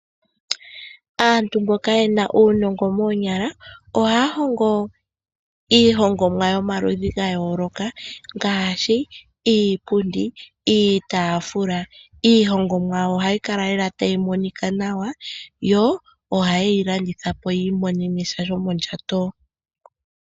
Aantu mboka yena uunongo moonyala, ohaya hongo iihongomwa yomaludhi gayooloka, ngaashi iipundi, iitaafula. Iihongomwa yawo ohayi kala lela tayi monika nawa, yo ohaye yi landithapo yiimonene sha shomondjato.